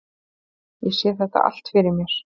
Ég sé þetta allt fyrir mér.